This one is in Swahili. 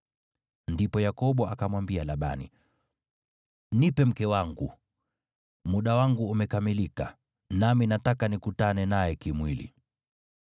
Ndipo Yakobo akamwambia Labani, “Nipe mke wangu. Muda wangu umekamilika, nami nataka nikutane naye kimwili.”